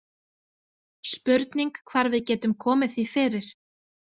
Spurning hvar við getum komið því fyrir